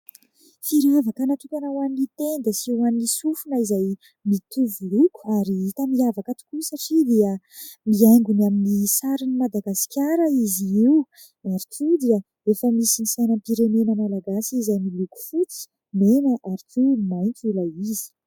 Firavaka natokana ho an'ny tenda sy ho an'ny sofina izay mitovy loko ary tena miavaka tokoa satria dia mihaingo ny amin'ny sarin'ny Madagasikara izy io ary ihany koa dia efa misy ny sainam-pirenena Malagasy izay miloko fotsy, mena ary maitso ilay izy.